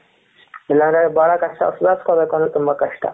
ಇಲ್ಲಾಂದ್ರೆ ಬಹಳ ಕಷ್ಟ ಸುದರ್ಸ್ಕೋಬೇಕು ಅಂದ್ರೆ ತುಂಬಾ ಕಷ್ಟ.